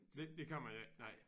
Det det kan man ikke nej